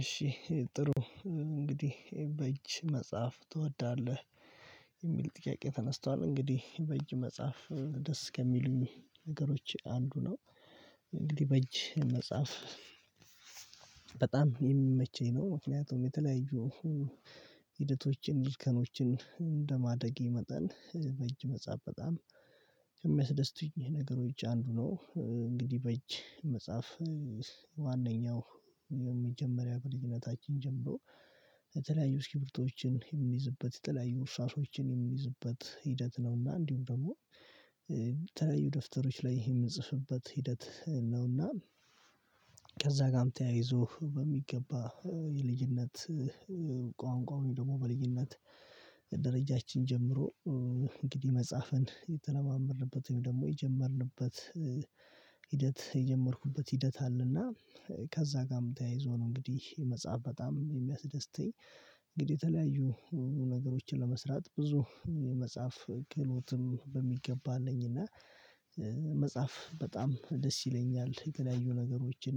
እሺ ጥሩ እንግዲህ በእጅ መጻፍ ትወዳለህ? የሚል ጥቂቄ ተነስቷል እንግዲህ በእጅ መጻፍ ደስ ከሚሉኝ ነገሮች አንዱ ነው። እንግዲህ በእጅ መጻፍ በጣም የሚመቸኝ ነው። ምክንያቱም የተለያዩ ሊከኖችን እንደማደጌ መጠን በእጅ መጻፍ በጣም የሚያስደስቱኝ ነገሮች አንዱ ነው። እንግዲህ በእጅ መጻፍ ዋናኛው የመጀመሪያ በልጅነታችን ጀምሮ የተለያዩ እስኪብርቶዎችን የምንይዝበት የተለያዩ እርሳሶችን የምንይዝበት ሂደት ነውና እንዲሁም ደግሞ ተለያዩ ደፍተሮች ላይ ይሄ የምንጽፍበት ሂደት ነውና። ከዛ ጋርም ተያይዞ በሚገባ የልዩነት ቋንቋውን ደግሞ በልዩነት ደረጃችን ጀምሮ እንግዲህ መጽሐፍን የተለማመድንበት ወይም ደግሞ የጀመርንበት ሂደት የጀመርኩበት ሂደት አለና ከዛ ጋርም ተያይዞ ነው እንግዲህ የመጽሐፍ በጣም የሚያስደስተኝ። እንግዲህ የተለያዩ ነገሮችን ለመስራት ብዙ መጽሐፍ ክህሎትም በሚገባ አለኝ እና መጻፍ በጣም ደስ ይለኛል። የተለያዩ ነገሮችን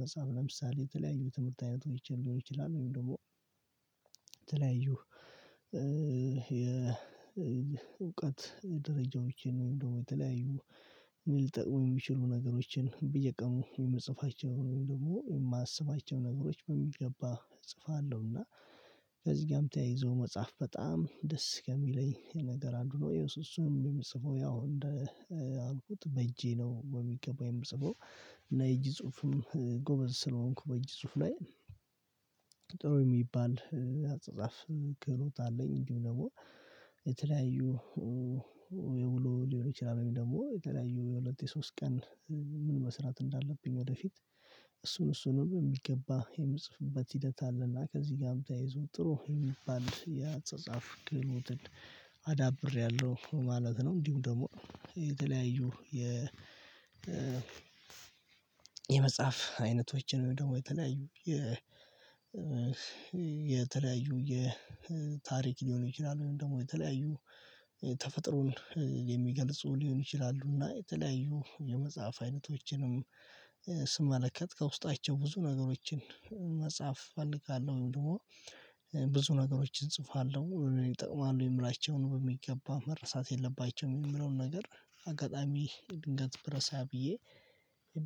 መጻፍ ለምሳሌ የተለያዩ ትምህርት አይነት ሆይቼ ሊሆን ይችላል ወይም ደግሞ ተለያዩ የእውቀት ደረጃዎችን እንዲሁም ድግሞ ተለያዩ ሊጠቅሙ የሚችሉ ነገሮችን በየቀኑ የምጽፋቸው ወይም ደግሞ የማስባቸው ነገሮች በሚገባ እጽፋለሁና። ከዚህ ጋርም ተያይዞ መጻፍ በጣም ደስ ከሚለኝ ነገር አንዱ ነው እየሱስም የምጽፈው ያው እንደ አልኩት በእጄ ነው ወይ የሚገባው የምጽፈው የእጅ ጽሁፍም ጎበዝ ስለሆንኩ በእጅ ጽሁፍ ላይ ጥሩ የሚባል አጻጻፍ ክህሎት አለኝ። እንዲሁ ደግሞ የተለያዩ የውሎ ሊሆን ይችላል ወይም ደግሞ የተለያዩ የሁለት የሶስት ቀን ምን መስራት እንዳለብኝ ወደፊት እሱን እሱንም የሚገባ የምጽፍበት ሂደት አለና ከዚህ ጋር በተያይዞ ጥሩ የሚባል የአጻጻፍ ግሎትን አዳብሪያለሁ ማለት ነው። እንዲሁም ደግሞ የተለያዩ የ የመጽሐፍ አይነቶችን ደግሞ የተለያዩ የ የተለያዩ የታሪክ ሊሆን ይችላል ወይም ደግሞ የተለያዩ ተፈጥሮን የሚገልጹ ሊሆን ይችላሉ የተለያዩ የመጽሐፍ አይነቶችንም ስመለከት ከውስጣቸው ብዙ ነገሮችን መጽሐፍ እፈልጋለሁ ወይም ደግሞ ብዙ ነገሮችን እጽፋለሁ ይጠቅማሉ የምላቸውን በሚገባ መረሳት የለባቸውም የሚለውን ነገር አጋጣሚ ድንገት ብረሳ ብዬ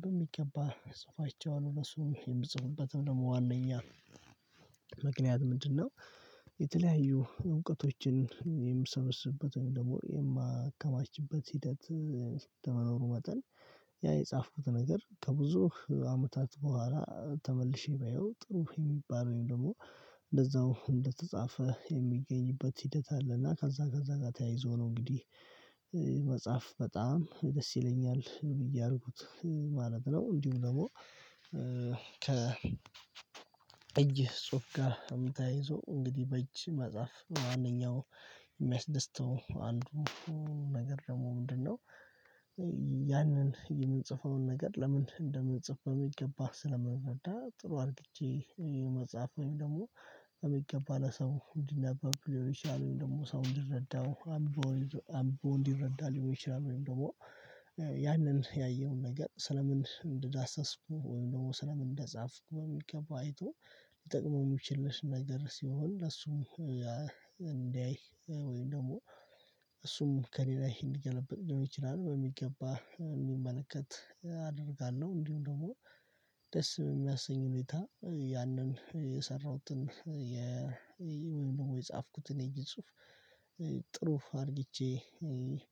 በሚገባ ጽፋቸውን ለሱም የምጽፉበትም ደግሞ ዋናኛ ምክንያት ምንድነው? የተለያዩ እውቀቶችን የምሰበስብበት ወይም ደግሞ የማከማችበት ሂደት እንደመኖሩ መጠን ያ የጻፍኩት ነገር ከብዙ አመታት በኋላ ተመልሼ ባየው ጥሩ የሚባለውን ደግሞ እንደዛው እንደተጻፈ የሚገኝበት ሂደት አለ። እና ከዛ ከዛ ጋር ተያይዞ ነው እንግዲህ መጻፍ በጣም ደስ ይለኛል ብዬ አድርጉት ማለት ነው። እንዲሁ ደግሞ ከ እጅ ጽሁፍ ጋር ተያይዞ እንግዲህ በእጅ መጻፍ ማንኛውም የሚያስደስተው አንዱ ነገር ደግሞ ምንድነው? ያንን የምንጽፈውን ነገር ለምን እንደምንጽፈው ይገባህ ስለምንረዳ ጥሩ አድርጌ መጽሐፍ ወይም ደግሞ በሚገባ ለሰው እንዲነበብ ሊሆን ይችላል ወይም ደግሞ ሰው እንዲረዳው አምብቦ እንዲረዳ ሊሆን ይችላል ወይም ደግሞ ያንን ያየውን ነገር ስለምን እንደዳሰስኩ ወይም ደሞ ስለምን እንደጻፍኩ በሚከባ አይቶ ሊጠቅመው እሚችልስ ነገር ሲሆን ለሱም እንዲያይ ወይም ደግሞ እሱም ከሌላዬ እንዲገለብጥ ሊሆን ይችላል በሚገባ እሚመለከት አደርጋለሁ። እንዲሁም ደግሞ ደስ እሚያሰኝ ሁኔታ ያንን የሰራሁትን የ የጻፍኩትን የእጅ ጽሁፍ ጥሩ አርግቼ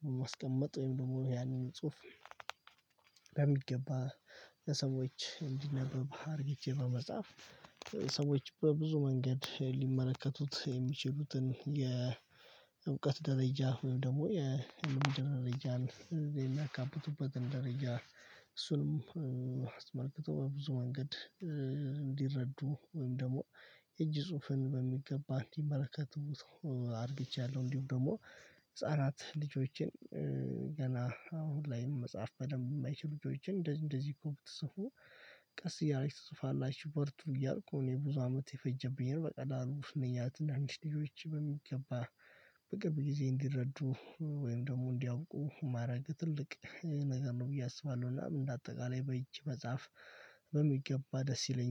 በማስቀመጥ ወይም ደግሞ ያንን ጽሁፍ በሚገባ ለሰዎች እንዲነበብ አርግቼ በመጻፍ ሰዎች በብዙ መንገድ ሊመለከቱት የሚችሉትን የእውቀት ደረጃ ወይም ደግሞ የልምድ ደረጃን ካበቱበትን ደረጃ እሱንም አስመልክቶ ብዙ መንገድ እንዲረዱ ወይም ደግሞ እጅ ጽሁፍን በሚገባ እንዲመረከቱት አርግቻለሁ። እንዲሁም ደሞ ህፃናት ልጆቼን ገና አሁን ላይም መጻፍ በደንም እማይችሉ ልጆችን እንደዚህ እንደዚህ እኮ ቀስ እያለች ትጽፋላችሁ በርቱ እያልኩ እኔ ብዙ አመት የፈጀብኝ በቀላሉ እነኛ ትናንሽ ልጆች በሚገባ በቅርብ ጊዜ እንዲረዱ ወይም ደግሞ እንዲያውቁ ማረግ ትልቅ ነገር ነው ብዬ አስባለሁ። እና እንደ አጠቃላይ በእጅ መጽሐፍ በሚገባ ደስ ይለኛል